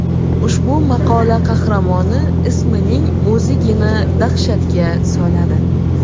Ushbu maqola qahramoni ismining o‘zigina dahshatga soladi.